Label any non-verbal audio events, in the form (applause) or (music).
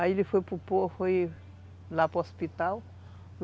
Aí ele foi (unintelligible) hospital.